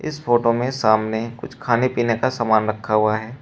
इस फोटो में सामने कुछ खाने पीने का सामान रखा हुआ है।